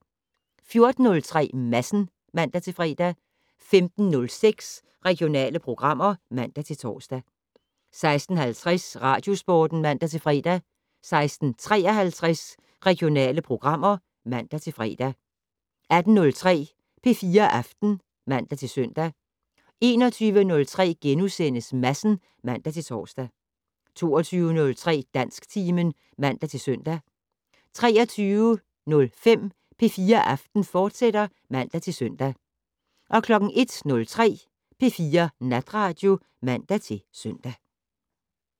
14:03: Madsen (man-fre) 15:06: Regionale programmer (man-tor) 16:50: Radiosporten (man-fre) 16:53: Regionale programmer (man-fre) 18:03: P4 Aften (man-søn) 21:03: Madsen *(man-tor) 22:03: Dansktimen (man-søn) 23:05: P4 Aften, fortsat (man-søn) 01:03: P4 Natradio (man-søn)